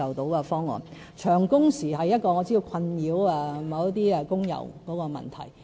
我知道長工時是一個困擾一些工友的問題。